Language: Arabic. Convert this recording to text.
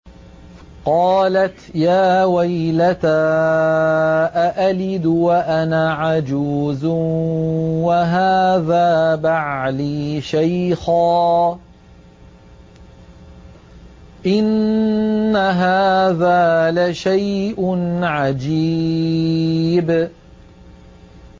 قَالَتْ يَا وَيْلَتَىٰ أَأَلِدُ وَأَنَا عَجُوزٌ وَهَٰذَا بَعْلِي شَيْخًا ۖ إِنَّ هَٰذَا لَشَيْءٌ عَجِيبٌ